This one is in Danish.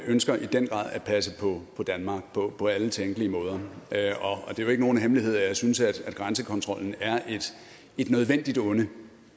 ønsker i den grad at passe på danmark på alle tænkelige måder det er jo ikke nogen hemmelighed at jeg synes at grænsekontrollen er et nødvendigt onde